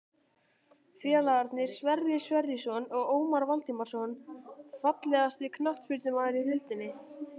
Félagarnir Sverrir Sverrisson og Ómar Valdimarsson Fallegasti knattspyrnumaðurinn í deildinni?